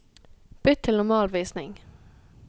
Bytt til normalvisning